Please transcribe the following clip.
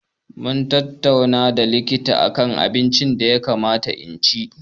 Mun tattauna da likita akan irin abinci da ya kamata in ci.